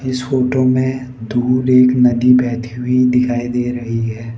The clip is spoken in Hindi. इस फोटो में दूर एक नदी बहती हुई दिखाई दे रही है।